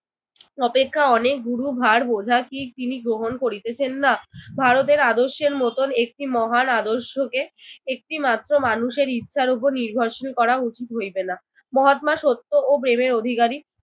অপেক্ষা অনেক গুরুভার বোঝা কি তিনি গ্রহণ করিতেছেন না? ভারতের আদর্শের মতন একটি মহান আদর্শকে একটিমাত্র মানুষের ইচ্ছার উপর নির্ভরশীল করা উচিত হইবে না। মহাত্মা সত্য ও প্রেমে অধিকারী।